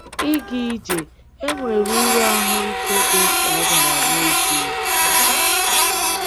Ị́ ga-ije è nwere uru ahụ́ ike dị mkpa o bara n’ezie?